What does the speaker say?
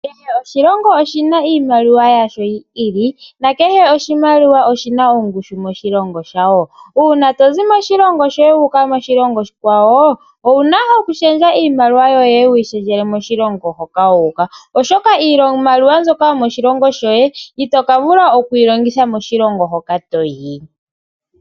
Kehe oshilongo oshina oshimaliwa yasho yi ili. Kehe oshimaliwa oshina ongushu moshilongo sha sho. Uuna tozi moshilongo shoye toyi koshilongo oshikwa wo owuna oku shendja iimaliwa yoye. Wu yi shendjele kwambi yomoshilongo hoka wuuka. Oshoka iimaliwa iimaliwa yomoshilongo shoye ito ka vula oku yi longitha koshilongo hoka toyi.